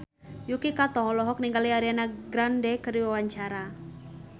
Yuki Kato olohok ningali Ariana Grande keur diwawancara